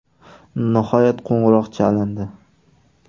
Nihoyat qo‘ng‘iroq chalindi.